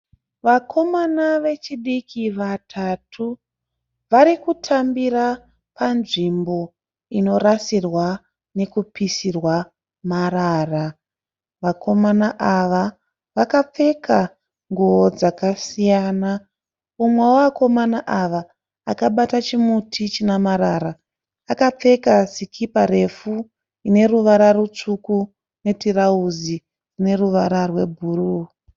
Vakomana vechidiki vatatu, varikutambira panzvimbo inorasirwa nekupisirwa marara. Vakomana ava vakapfeka nguo dzakasiyana. umwe wevakomana ava akabata chimuti china marara, akapfeka sikipa refu ine ruwara ru tsvuku netirauzi rine ruvara rwe bhuruu.